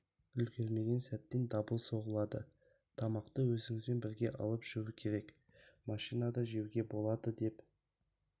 үлгермеген сәттен дабыл соғылады тамақты өзімізбен бірге алып жүру керек машинада жеуге болады деп